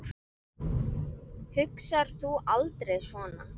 Hugsar þú aldrei svona?